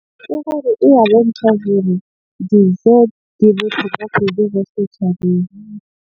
E ya bontsha hore dijo di bohlokwa setjhabeng.